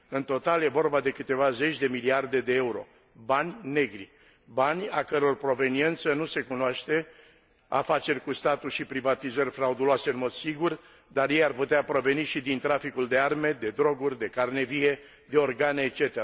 În total, este vorba despre câteva zeci de miliarde de euro, bani negri, bani a căror proveniență nu se cunoaște afaceri cu statul și privatizări frauduloase, în mod sigur, dar ei ar putea proveni și din traficul de arme, de droguri, de carne vie, de organe etc.,